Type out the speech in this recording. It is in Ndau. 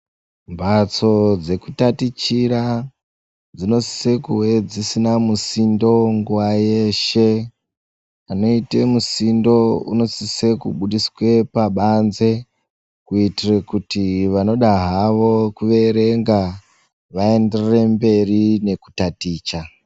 Mbatso dzekutatichira dzinosise kuedzisina musindo nguwayeshe anoite musindo unosise kubudiswe pabanze kuitire kuti vanoda havo kuverenga vaenderere mberi nekutaticha